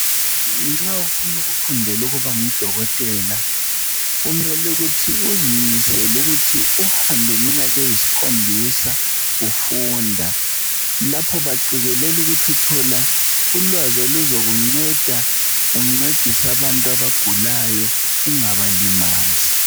Nxa ufuna ukufundela ukuba ngudokotela kumele ukuthi uzimisele ukuthi uhambe iminyaka eyisikhombisa ufunda. Lapho baqekelela ukuthi uthola ulwazi oluzokunceda uncedise abantu abagulayo ungabalimazi.